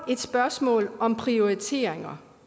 et spørgsmål om prioriteringer